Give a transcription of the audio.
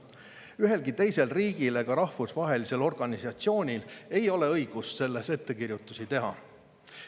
Ühelgi teisel riigil ega rahvusvahelisel organisatsioonil ei ole õigust selles ettekirjutusi teha.